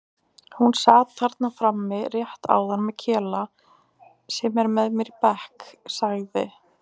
Hún sat þarna frammi rétt áðan með Kela sem er með mér í bekk sagði